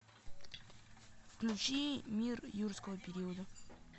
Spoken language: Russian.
включи мир юрского периода